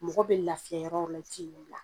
Mɔgɔ be lafiya yɔrɔ-yɔrɔ la i ti yen bila.